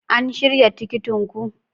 An shirya tikitin ku?